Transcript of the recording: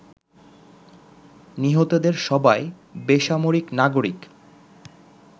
নিহতদের সবাই বেসামরিক নাগরিক